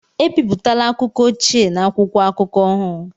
Ebipụtala akụkọ ochie na akwụkwọ akụkọ ahụ!